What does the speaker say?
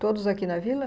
Todos aqui na vila?